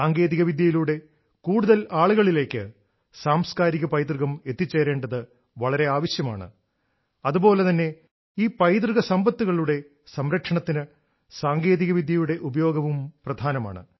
സാങ്കേതികവിദ്യയിലൂടെ കൂടുതൽ ആളുകളിലേക്ക് സാംസ്കാരിക പൈതൃകം എത്തിച്ചേരേണ്ടത് വളരെ ആവശ്യമാണ് അതുപോലെ തന്നെ ഈ പൈതൃക സമ്പത്തുകളുടെ സംരക്ഷണത്തിന് സാങ്കേതികവിദ്യയുടെ ഉപയോഗവും പ്രധാനമാണ്